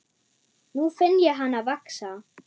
Nú finn ég hana vaxa.